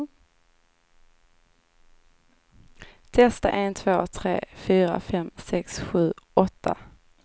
Testar en två tre fyra fem sex sju åtta.